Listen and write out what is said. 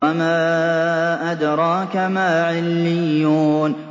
وَمَا أَدْرَاكَ مَا عِلِّيُّونَ